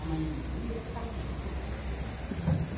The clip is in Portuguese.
A mãe dizia, está tudo com flor.